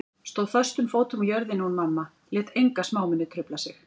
Stóð föstum fótum á jörðinni hún mamma, lét enga smámuni trufla sig.